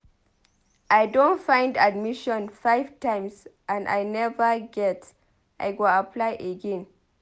I don find admission five times and I neva get I go apply again.